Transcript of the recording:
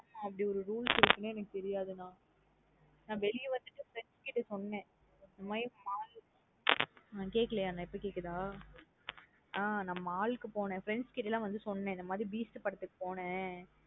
அப்டி ஒரு rules இருக்குனே எனக்கு தெரியாது நா. நா வெளிய வந்துட்டு இத friends கிட்ட சொன்னே. இந்த மாத்ரி mall க்கு. கேக்கலையோ நா இப்ப கேக்குதா ஆ mall க்கு போனனேன். Friends கிட்ட ந சொன்னேன் இந்த மாத்ரி Beast படத்துக்கு போனனே.